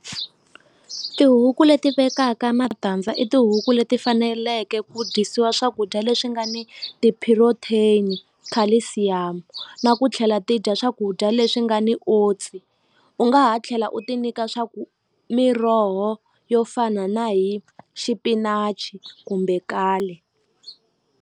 Tihuku leti vekaka matandza i tihuku leti faneleke ku dyisiwa swakudya leswi nga ni tiphirotheni, calcium na ku tlhela ti dya swakudya leswi nga ni oats u nga ha tlhela u ti nyika swa ku miroho yo fana na hi xipinachi kumbe kale.